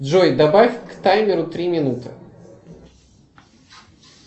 джой добавь к таймеру три минуты